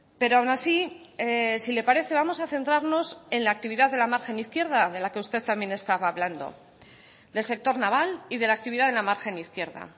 pero aun así si le parece vamos a centrarnos en la actividad de la margen izquierda de la que usted también estaba hablando del sector naval y de la actividad de la margen izquierda